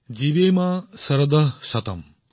জীৱেম শাৰদঃ শতম্